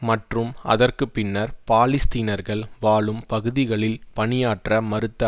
மற்றும் அதற்கு பின்னர் பாலஸ்தீனர்கள் வாழும் பகுதிகளில் பணியாற்ற மறுத்து